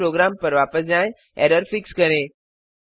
अपने प्रोग्राम पर वापस जाएँ एरर फिक्स करें